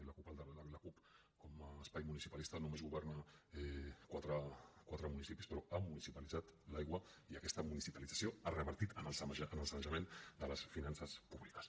la cup com a espai municipalista només governa quatre municipis però ha municipalitzat l’aigua i aquesta municipalització ha revertit en el sanejament de les finances públiques